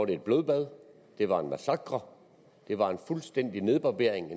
det et blodbad det var en massakre det var en fuldstændig nedbarbering